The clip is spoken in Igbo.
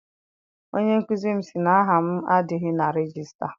Onye nkụzi m si na aha m adịghị n'ime regista.